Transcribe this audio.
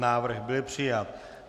Návrh byl přijat.